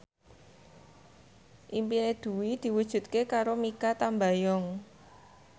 impine Dwi diwujudke karo Mikha Tambayong